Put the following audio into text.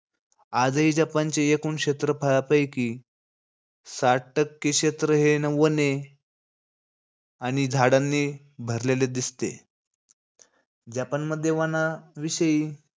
आजही जपानच्या एकूण क्षेत्रफळापैकी साठ टक्के क्षेत्र हे न वने आणि झाडांनी भरलेले दिसते. जपानमध्ये वनांविषयी,